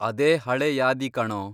ಅದೇ ಹಳೆ ಯಾದಿ, ಕಣೋ.